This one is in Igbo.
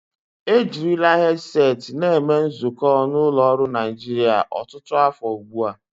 Ejirila hedseti na eme nzukọ n'ụlọ ọrụ Naijiria ọtụtụ afọ ugbu a.